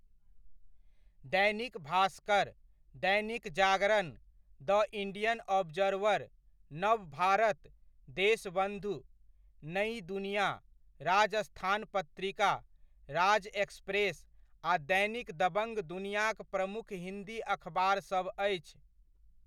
Dainik Bhaskar, Dainik Jagran, the Indian Observer, Nav Bharat, Deshbandhu, Nai Dunia, Rajasthan Patrika, Raj express आ दैनिक दबङ्ग दुनियाक प्रमुख हिन्दी अखबारसब अछि।